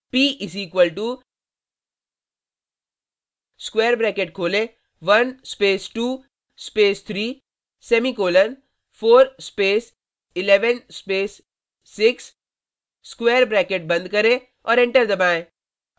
p = square bracket खोलें 1 space 2 space 3 semicolon 4 space 11 space 6 square bracket बंद करें और एंटर दबाएँ